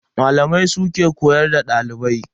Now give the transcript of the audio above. Malamai su ke koyar da dalibai.